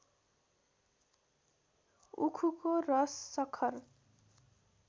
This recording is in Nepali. उखुको रस सखर